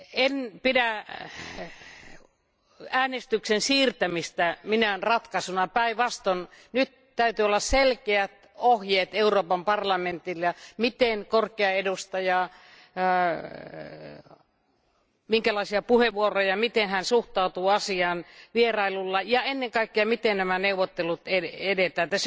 En pidä äänestyksen siirtämistä minään ratkaisuna, päin vastoin nyt täytyy olla selkeät ohjeet Euroopan parlamentille, miten korkea edustaja, minkälaisia puheenvuoroja ja miten hän suhtautuu asiaan vierailulla ja ennen kaikkea, miten näissä neuvotteluissa edetään.